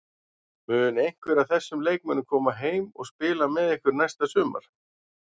Mun einhver af þessum leikmönnum koma heim og spila með ykkur næsta sumar?